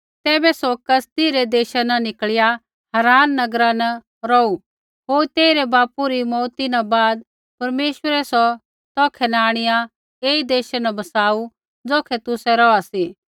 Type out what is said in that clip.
तैबै सौ कसदी रै देशा न निकल़िया हारान नगरा न रौहू होर तेइरै बापू री मौऊत न बाद परमेश्वरै सौ तौखै न आंणिआ ऐई देशा न बसाऊ ज़ौखै तुसै रौहा सी